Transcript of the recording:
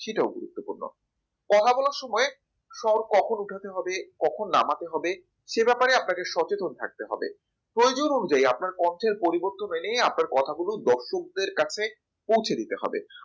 সেটাও গুরুত্বপূর্ণ কথা বলার সময় সর কখন উঠাতে হবে কখন নামাতে হবে সে ব্যাপারে আপনাকে সচেতন থাকতে হবে প্রয়োজন অনুযায়ী আপনার কন্ঠে পরিবর্তন মেনে আপনার দর্শকদের কাছে পৌঁছে দিতে হবে